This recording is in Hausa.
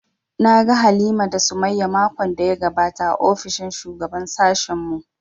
Na ga Halima da Sumayya makon da ya gabata a ofishin shugaban sashen mu